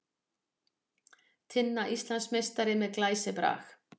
Tinna Íslandsmeistari með glæsibrag